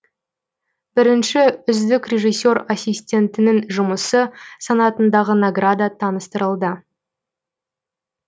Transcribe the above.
бірінші үздік режиссер ассистентінің жұмысы санатындағы награда таныстырылды